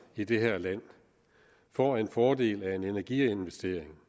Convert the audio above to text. i det her land får en fordel af en energiinvestering